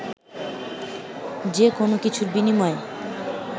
যে কোনো কিছুর বিনিময়ে